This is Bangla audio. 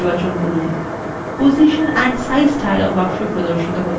position and size dialog box এ প্রদর্শিত হচ্ছে